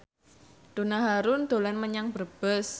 Donna Harun dolan menyang Brebes